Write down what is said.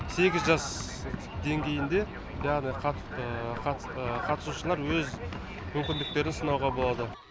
сегіз жас деңгейінде жаңағыдай қатысушылар өз мүмкіндіктерін сынауға болады